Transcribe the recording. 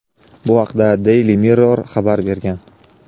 Bu haqda "Daily Mirror" xabar bergan.